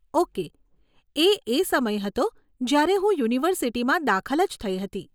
Okay. એ એ સમય હતો જયારે હું યુનિવર્સીટીમાં દાખલ જ થઇ હતી.